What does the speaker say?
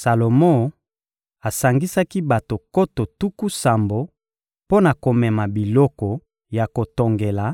Salomo asangisaki bato nkoto tuku sambo mpo na komema biloko ya kotongela,